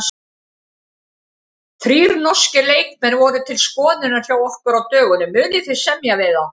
Þrír norskir leikmenn voru til skoðunar hjá ykkur á dögunum, munið þið semja við þá?